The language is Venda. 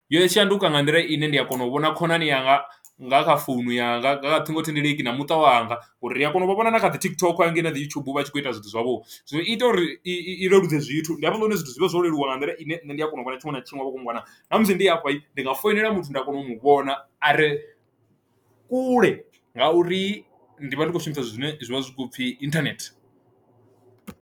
Yo shanduka nga nḓila ine ndi a kona u vhona khonani yanga nga kha founu yanga nga ṱhingothendeleki na muṱa wanga ngori ri a kona u vha vhona na kha dzi TikTok hanengei ndi youtube uvha a tshi kho ita zwithu zwavho, zwino ita uri i leludze zwithu ndi hafhaḽa hune zwithu zwi vhe zwo leluwa nga nḓila ine nṋe ndi a kona u vhona tshiṅwe na tshiṅwe vha khou nngwana ṋamusi ndi awe ndi nga foinela muthu ndi a kona u mu vhona are kule ngauri ndi vha ndi khou shumisa zwithu zwine zwivha zwi kho pfhi internet.